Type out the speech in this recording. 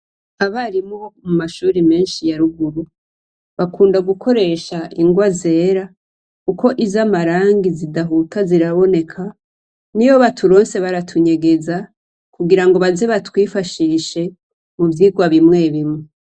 Abarimu bo mu mashure menshi ya ruguru bakunda gukoresha ingwa zera kuko izamarangi zidahuta ziraboneka, niyi baturonse baratunyegeza kugira ngo baze batwifashishe mu vyigwa bimwe bimwe.